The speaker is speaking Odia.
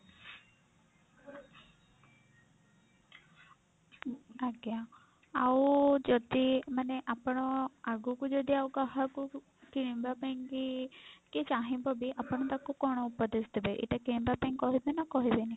ଆଜ୍ଞା ଆଉ ଯଦି ମାନେ ଆପଣ ଆଗକୁ ଯଦି ଆଉ କାହାକୁ କିଣିବା ପାଇଁ କି ଚାହିଁବ ବି ଆପଣ ତାକୁ କଣ ଉପଦେଶ ଦେବେ ଏଇଟା କିଣିବା ପାଇଁ କହିବେ ନା କହିବେନି?